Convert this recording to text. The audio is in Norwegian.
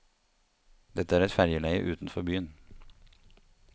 Dette er et fergeleie utenfor byen.